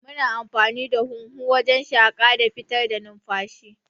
Muna amfani da huhu wajan shaƙa da fitar da numfashi